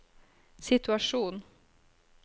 situasjon